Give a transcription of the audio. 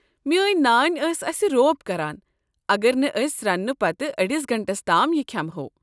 میٛٲنۍ نانۍ ٲس اسہِ روب کران اگر نہٕ أسۍ رنٛنہٕ پتہٕ أڈس گنٹس تام یہِ کھٮ۪مۂو۔